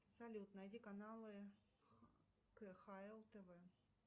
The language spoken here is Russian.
салют найди каналы кхл тв